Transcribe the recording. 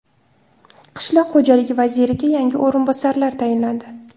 Qishloq xo‘jaligi vaziriga yangi o‘rinbosarlar tayinlandi.